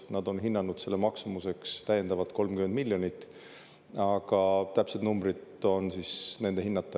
Nad on hinnanud selle maksumuseks täiendavalt 30 miljonit, aga täpsed numbrid on nende hinnata.